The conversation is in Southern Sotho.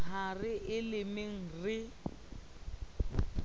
ha re e lemeng re